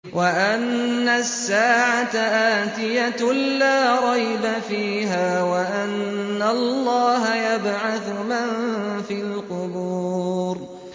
وَأَنَّ السَّاعَةَ آتِيَةٌ لَّا رَيْبَ فِيهَا وَأَنَّ اللَّهَ يَبْعَثُ مَن فِي الْقُبُورِ